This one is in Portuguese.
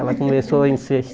Ela começou a